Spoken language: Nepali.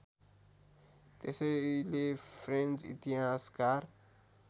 त्यसैले फ्रेन्च इतिहासकार